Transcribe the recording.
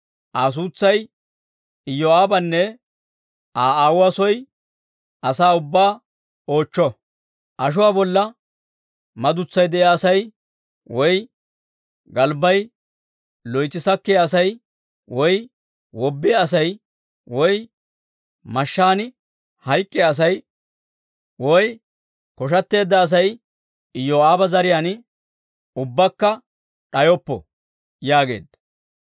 Aa suutsay Iyoo'aabanne Aa aawuwaa soo asaa ubbaa oochcho; ashuwaa bolla madutsay de'iyaa asay, woy galbbay loytsi sakkiyaa asay, woy wobbiyaa asay, woy mashshaan hayk'k'iyaa asay, woy koshshateedda Asay Iyoo'aaba zariyaan ubbakka d'ayoppo!» yaageedda.